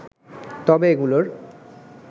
তবে এগুলোর